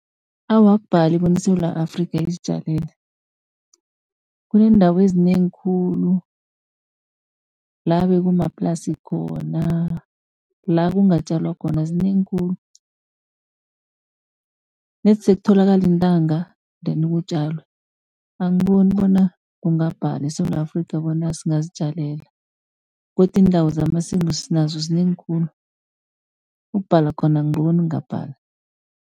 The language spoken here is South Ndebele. Awa, akubhali bona iSewula Afrika, izitjalele. Kuneendawo ezinengi khulu la bekumaplasi khona, la kungatjalwa khona zinengi khulu. Nedi sekutholakale iintanga ndeni kutjalwe, angiboni bona kungabhala eSewula Afrika, bona singazitjalela. Godu iindawo zamasimu sinazo zinengi khulu, ukubhala khona angiboni kungabhala.